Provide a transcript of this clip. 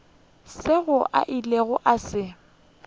seo a ilego a se